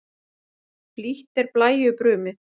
Blítt er blæju brumið.